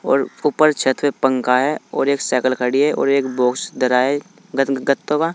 और ऊपर छत पंखा है और एक साइकिल खड़ी है और एक बॉक्स धरा ग गत्तों का।